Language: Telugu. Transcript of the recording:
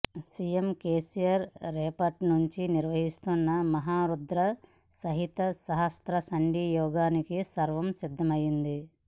సీఎం కేసీఆర్ రేపట్నుంచి నిర్వహించనున్న మహా రుద్ర సహిత సహస్ర చండీ యాగానికి సర్వం సిద్ధమైంది